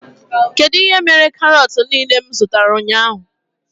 Kedụ ihe mere karot niile m zụtara ụnyaahụ?